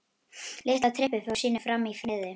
Litla trippið fór sínu fram í friði.